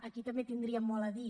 aquí també hi tindríem molt a dir